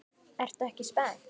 Ertu ekki spennt?